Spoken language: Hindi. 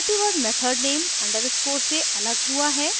मल्टीवर्ड मेथड नेम अंडरस्कोर से अलग हुआ है